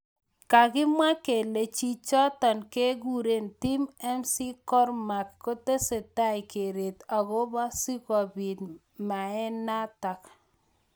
Kakimwa kele chichotok kekure Tim McCormack kotesetai keret akobo sikobit meanatak.